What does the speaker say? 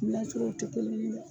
N'a sɔrɔ u tɛ kelen ye dɛ.